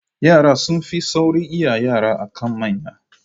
Yara sun fi saurin iya yara akan manya